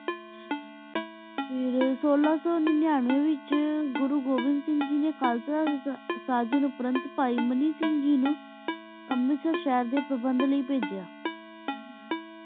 ਹਮਮ ਫਿਰ ਸੋਲਾ ਸੋ ਨਾਨਾਨ੍ਵ੍ਯ ਵੇਚ ਘੁਰੁ ਘੁਵਣ ਸਿੰਗ ਜੀ ਨੀ ਖ਼ਜ਼ਾ ਉਪਰੰ ਸਿੰਗ ਨੂ ਅਮਰਤ ਸਹਰ ਡੀ ਪਾਬੰਦ ਲੈ ਪਾਜੇਯਾ